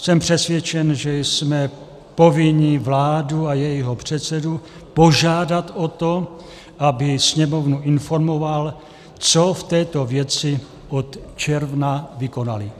Jsem přesvědčen, že jsme povinni vládu a jejího předsedu požádat o to, aby Sněmovnu informoval, co v této věci od června vykonali.